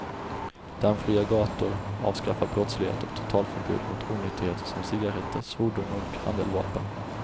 Dammfria gator, avskaffad brottslighet och totalförbud mot onyttigheter som cigaretter, svordomar och handeldvapen.